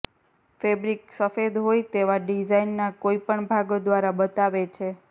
fabric સફેદ હોય તેવા ડિઝાઇનના કોઈપણ ભાગો દ્વારા બતાવે છે